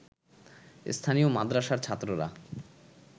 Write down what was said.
স্থানীয় মাদ্রাসার ছাত্ররা